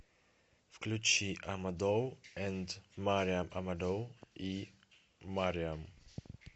включи амадоу энд мариам амадоу и мариам